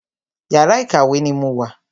Yàrá ìkàwé ni mo wà.